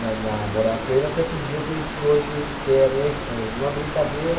na na Morato Coelho, até que um dia eu conheci hoje, que é a minha esposa, numa brincadeira.